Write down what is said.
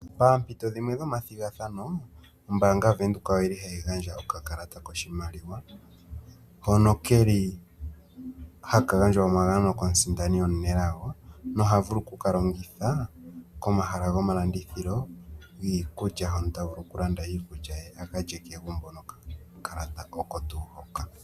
Paampito dhimwe dhomathigathano ombaanga yaVenduka ohayi gandja okakalata koshimaliwa hono ke li haka gandjwa omagano komusindani omunelago noha vulu oku ka longitha komahala gomalandithilo giikulya, hono ta vulu okulanda iikulya a ka lye kegumbo.